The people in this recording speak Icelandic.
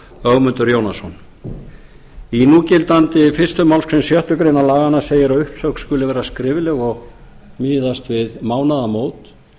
ögmundur jónasson í núgildandi fyrstu málsgrein fyrstu grein laganna segir að uppsögn skuli vera skrifleg og miðast við mánaðamót